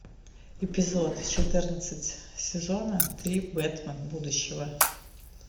эпизод четырнадцать сезона три бэтмен будущего